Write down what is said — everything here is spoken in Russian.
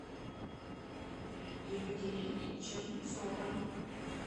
екатерине чернецовой